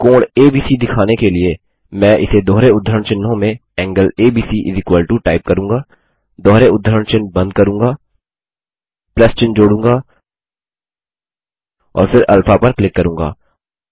अब कोण एबीसी दिखाने के लिए मैं इसे दोहरे उद्धरण चिह्नों में एंगल एबीसी टाइप करूँगा दोहरे उद्धरण चिह्न बंद करूँगा चिन्ह जोड़ूँगा और फिर अल्फा पर क्लिक करूँगा